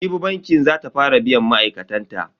Jibi banki za ta fara biyan ma'aikatan ta.